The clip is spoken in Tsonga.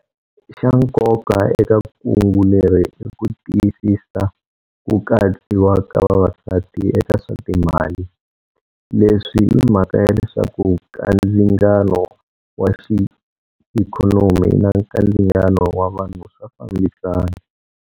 Xa nkoka eka kungu leri i ku tiyisisa ku katsiwa ka vavasati eka swa timali. Leswi i mhaka ya leswaku kandzingano wa xiikhonomi na kandzingano wa vanhu swa fambisana.